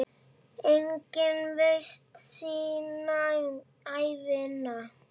Enginn veit sína ævina.